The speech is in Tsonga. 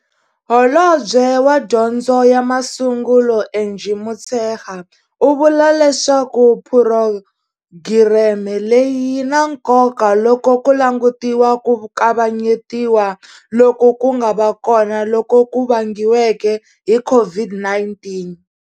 Holobye wa Dyondzo ya Masungulo Angie Motshekga u vula leswaku phurogireme leyi yi na nkoka loko ku langutiwa ku kavanyetiwa loku ku nga va kona loku ku vangiweke hi COVID-19.